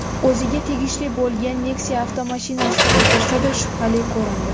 o‘ziga tegishli bo‘lgan Nexia avtomashinasida o‘tirsa-da, shubhali ko‘rindi.